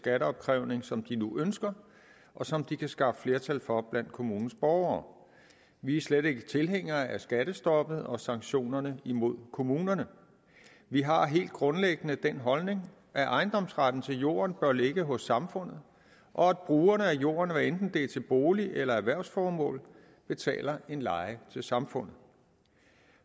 skatteopkrævning som de nu ønsker og som de kan skaffe flertal for blandt kommunens borgere vi er slet ikke tilhængere af skattestoppet og sanktionerne imod kommunerne vi har helt grundlæggende den holdning at ejendomsretten til jorden bør ligge hos samfundet og at brugerne af jorden hvad enten det er til bolig eller erhvervsformål betaler en leje til samfundet